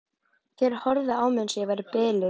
Þeir horfðu á mig eins og ég væri biluð.